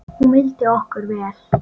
Hún vildi okkur vel.